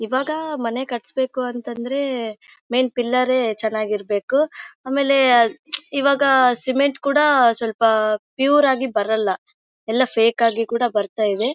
ಇವಾಗ ಮನೆ ಕಟ್ಸಬೇಕು ಅಂದ್ರೆ ಮೇನ್ ಪಿಲ್ಲರ್ ರೇ ಚೆನ್ನಾಗಿರಬೇಕು ಆಮೇಲೆ ಇವಾಗ ಸಿಮೆಂಟ್ ಕೂಡ ಪ್ಯೂರ್ ಆಗಿ ಬರೋಲ್ಲ ಎಲ್ಲ ಫೇಕ್ ಆಗಿ ಕೂಡ ಬರ್ತಾ ಇದೆ.